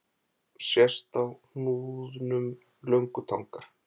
Sést á hnúðnum löngutangar.